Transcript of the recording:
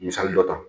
Misali dɔ ta